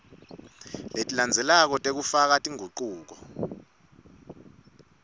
letilandzelako tekufaka tingucuko